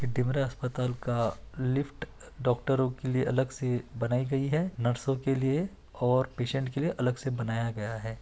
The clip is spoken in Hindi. ये डिमरा अस्पताल का लिफ्ट डॉक्टरों के लिए अलग से बनाई गई है नर्सों के लिए और पेशेंट के लिए अलग से बनाया गया है।